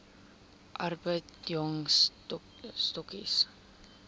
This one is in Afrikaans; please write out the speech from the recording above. arbeid jong stokkies